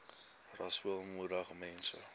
rasool moedig mense